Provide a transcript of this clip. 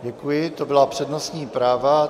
Děkuji, to byla přednostní práva.